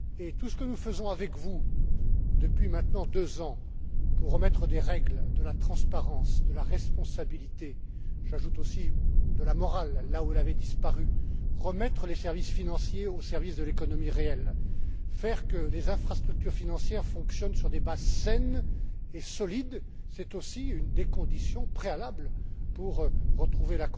Tout ce que nous faisons avec vous, depuis maintenant deux ans, pour remettre des règles, de la transparence, de la responsabilité j'ajoute aussi de la morale, là où elle avait disparu remettre les services financiers au service de l'économie réelle et faire que les infrastructures financières fonctionnent sur des bases saines et solides, c'est aussi une des conditions préalables pour retrouver